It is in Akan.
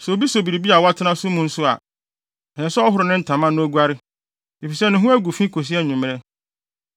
Sɛ obi so biribi a watena so mu nso a, ɛsɛ sɛ ɔhoro ne ntama na oguare, efisɛ ne ho agu fi kosi anwummere.